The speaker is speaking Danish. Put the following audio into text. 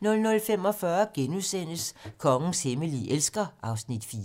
00:45: Kongens hemmelige elsker (Afs. 4)*